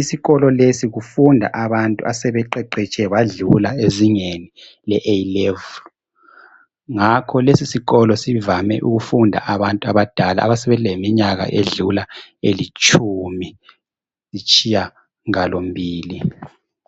Isikolo lesi kufunda abantu asebeqeqetshe badlula le A' Level, ngakho lesi sikolo sivame ukufunda abantu abadala asebeleminyaka edlula elitshumi lasitshiyagalombili.